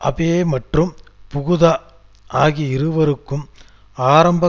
Abe மற்றும் Fukuda ஆகிய இருவருக்கும் ஆரம்ப